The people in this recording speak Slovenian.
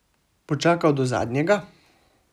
Bo čakal do zadnjega?